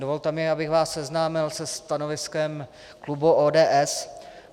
Dovolte mi, abych vás seznámil se stanoviskem klubu ODS.